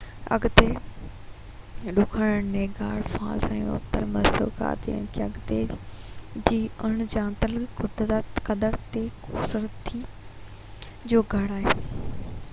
اڳتي ڏکڻ Niagara Falls ۽ اتر مسڪوڪا ۽ ان کان اڳتي جي اڻ ڄاتل قدرتي خوبصورتي جو گھر آھن